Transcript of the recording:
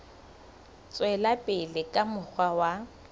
tswela pele ka mokgwa wa